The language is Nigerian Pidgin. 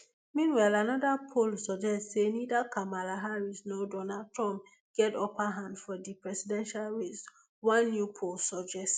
meanwhile anoda poll suggest say neither kamala harris nor donald trump get upper hand for di presidential race one new poll suggest